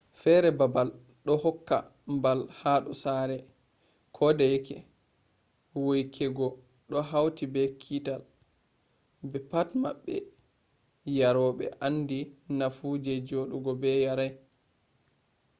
fere babal do hokka mbal hado sare. kodeyeke weykugo do hauti be kiital be pat boddum yarobe andi nafu je jodugo be yarai